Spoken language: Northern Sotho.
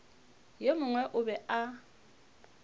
yo mongwe o be a